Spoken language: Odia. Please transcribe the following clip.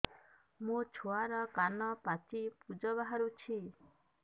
ମୋ ଛୁଆର କାନ ପାଚି ପୁଜ ବାହାରୁଛି